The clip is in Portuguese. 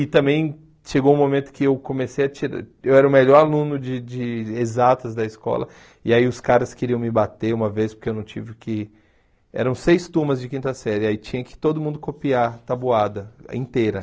E também chegou um momento que eu comecei a tirar... Eu era o melhor aluno de de exatas da escola, e aí os caras queriam me bater uma vez, porque eu não tive que... Eram seis turmas de quinta série, aí tinha que todo mundo copiar tabuada inteira.